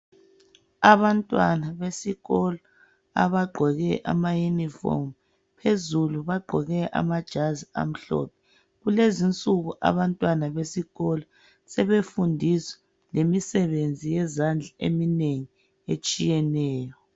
Abantwana besikolo abagqoke amayunifomu phezulu bagqoke amajazi amhlophe. Kulezinsuku abantwana besikolo sebefundiswa lemisebenzi yezandla eminengi etshiyeneyo.